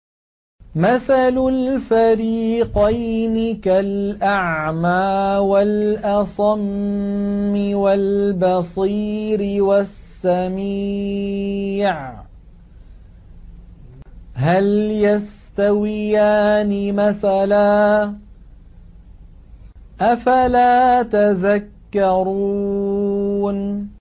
۞ مَثَلُ الْفَرِيقَيْنِ كَالْأَعْمَىٰ وَالْأَصَمِّ وَالْبَصِيرِ وَالسَّمِيعِ ۚ هَلْ يَسْتَوِيَانِ مَثَلًا ۚ أَفَلَا تَذَكَّرُونَ